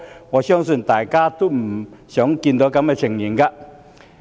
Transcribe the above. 我相信大家皆不想看到這情況。